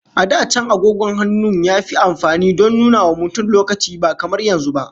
A da can, agogon hannun yafi amfani don nunawa mutum lokaci, ba kamar yanzu ba.